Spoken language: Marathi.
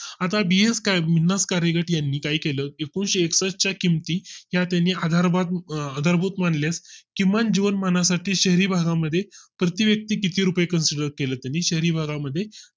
आता BS काही कार्यकर्त्यांनी काही केलं एकूणशे एकसष्ठ यांनी च्या किमती या त्यानी हजार आधारभूत मानल्यास किमान जीवनमानासाठी शहरी भागा मध्ये प्रति व्यक्ति किती रुपये consider केलंय शहरी भागा मध्ये